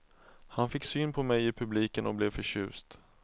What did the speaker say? Han fick syn på mig i publiken och blev förtjust.